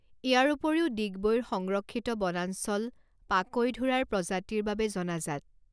ইয়াৰ উপৰিও ডিগবৈৰ সংৰক্ষিত বণাঞ্চল পাকৈঢোঁৰাৰ প্ৰজাতিৰ বাবে জনাজাত।